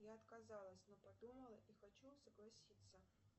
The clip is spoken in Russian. я отказалась но подумала и хочу согласиться